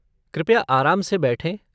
कृपया आराम से बैठें।